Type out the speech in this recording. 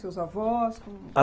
Seus avós...? a